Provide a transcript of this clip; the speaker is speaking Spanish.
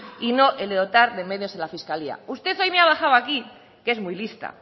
y no el de dotar de medios a la fiscalía usted hoy me ha bajado aquí que es muy lista